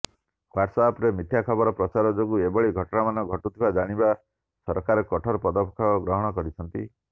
ହ୍ୱାଟସଆପରେ ମିଥ୍ୟା ଖବର ପ୍ରଚାର ଯୋଗୁ ଏଭଳି ଘଟଣାମାନ ଘଟୁଥିବା ଜାଣିବା ସରକାର କଠୋର ପଦକ୍ଷେପ ଗ୍ରହଣ କରିଛନ୍ତି